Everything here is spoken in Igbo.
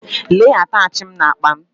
Lee atachi m n’akpa m